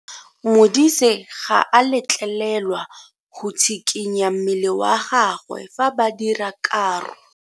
Modise ga a letlelelwa go tshikinya mmele wa gagwe fa ba dira karo.